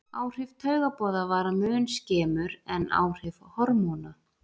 Áhrif taugaboða vara mun skemur en áhrif hormóna.